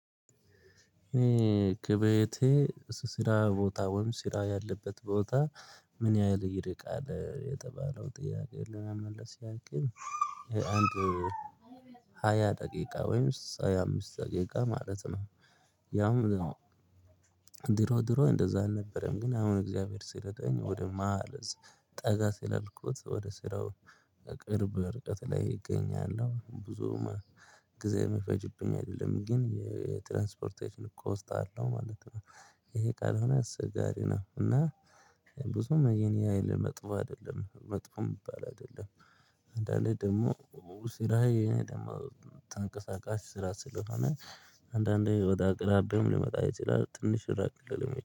ከቤቴ ስራ ቦታ ወይም ስራ ያለበት ቦታ? ምን ያህል ይርቃል የተባለው ጥያቄ ለመመለስ ያክል። አንድ ሃያ ደቂቃ ወይም ሃያ አምስት ደቂቃ ማለት ነው። ያው ድሮ ድሮ እንደዛ አልነበረም። ግን አሁን እግዚአብሔር ሲረዳኝ ወደ ማሀል ህዝብ ጠጋ ስላልኩት ወደ ስራው ቅርብ እርቀት ላይ እገኛለሁ። ብዙም ጊዜ የሚፈጅብኝ አይደለም ግን የትራንስፖርቴሽን ኮስት አለው ማለት ነው። ይሄ ካልሆነ አስቸጋሪ ነው። እና ብዙ ያን ያሀል መጥፎ አይደለም መጥፎ የሚባል አይደለም። አንዳንዴ ደግሞ ስራዬ ደግሞ ተንቀሳቃሽ ስራ ስለሆነ አንዳንዴ ወደ አቅራቢውም ሊመጣ ይችላል። ትንሽ ራቅ ልልም